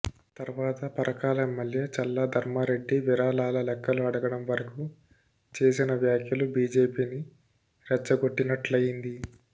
తర్వాత పరకాల ఎమ్మెల్యే చల్లా ధర్మారెడ్డి విరాళాల లెక్కలు అడగడం వరకు చేసిన వ్యాఖ్యలు బీజేపీని రెచ్చగొట్టినట్లయ్యింది